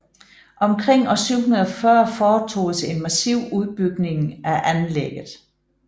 Omkring år 740 foretoges en massiv udbygning af anlægget